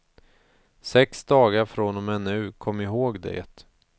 Sex dagar från och med nu, kom ihåg det.